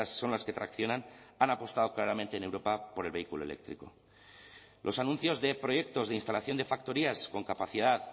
son las que traccionan han apostado claramente en europa por el vehículo eléctrico los anuncios de proyectos de instalación de factorías con capacidad